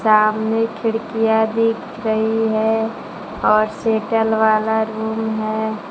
सामने खिड़कियां दिख रही है और सेटल वाला रूम है।